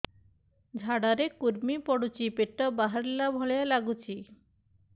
ଝାଡା ରେ କୁର୍ମି ପଡୁଛି ପେଟ ବାହାରିଲା ଭଳିଆ ଲାଗୁଚି